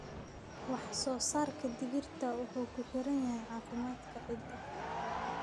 Wax-soo-saarka digirta wuxuu ku xiran yahay caafimaadka ciidda.